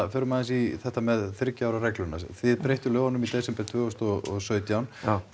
förum aðeins í þetta hérna með þriggja ára regluna þið breyttuð lögunum í desember tvö þúsund og sautján